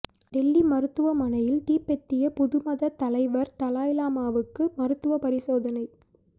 டெல்லி மருத்துவமனையில் திபெத்திய புத மத தலைவர் தலாய்லாமாவுக்கு மருத்துவ பரிசோதனை